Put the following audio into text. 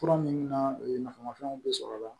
Fura minnu na o ye nafamafɛnw de sɔrɔ la